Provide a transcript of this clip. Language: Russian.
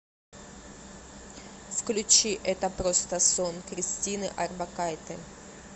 включи это просто сон кристины орбакайте